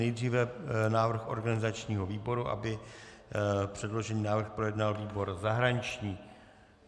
Nejdříve návrh organizačního výboru, aby předložený návrh projednal výbor zahraniční.